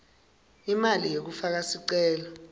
imali yekufaka sicelo